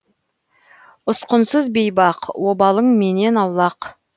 ұсқынсыз бейбақ обалың менен аулақ